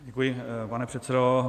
Děkuji, pane předsedo.